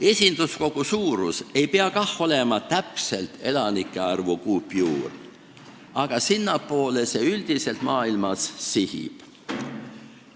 Esinduskogu suurus ei pea kah olema täpselt elanike arvu kuupjuur, ent sinnapoole see üldiselt maailmas sihib.